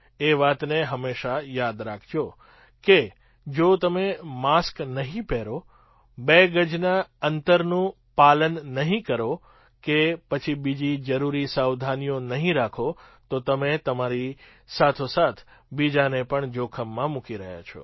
એ વાતને હંમેશાં યાદ રાખજો કે જો તમે માસ્ક નહીં પહેરો બે ગજના અંતરનું પાલન નહીં કરો કે પછી બીજી જરૂરી સાવધાનીઓ નહીં રાખો તો તમે તમારી સાથોસાથ બીજાને પણ જોખમમાં મૂકી રહ્યા છો